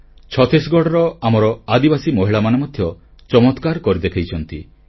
ଛତିଶଗଡ଼ର ଆମର ଆଦିବାସୀ ମହିଳାମାନେ ମଧ୍ୟ ଚମତ୍କାର କରି ଦେଖାଇଛନ୍ତି